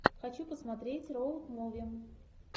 хочу посмотреть роуд муви